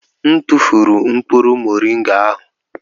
M tụfụrụ mkpụrụ moringa ahụ.